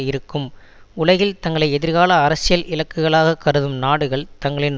இருக்கும் உலகில் தங்களை எதிர்கால அரசியல் இலக்குகளாக கருதும் நாடுகள் தங்களின்